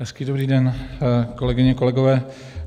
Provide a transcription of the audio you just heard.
Hezký dobrý den, kolegyně, kolegové.